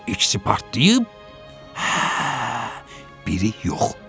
İkisi partlayıb, ha, biri yox.